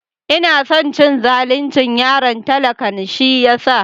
Ina son cin zalin yaron talakan shi yasa.